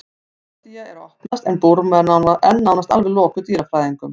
kambódía er að opnast en burma er enn nánast alveg lokuð dýrafræðingum